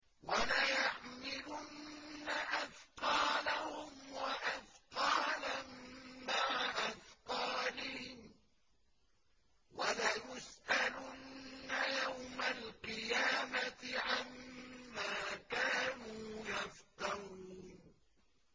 وَلَيَحْمِلُنَّ أَثْقَالَهُمْ وَأَثْقَالًا مَّعَ أَثْقَالِهِمْ ۖ وَلَيُسْأَلُنَّ يَوْمَ الْقِيَامَةِ عَمَّا كَانُوا يَفْتَرُونَ